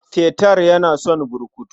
Peter yana son burkutu.